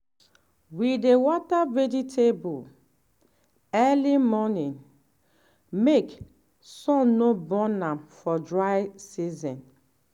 we dey water vegetable early morning make sun no burn am for dry season.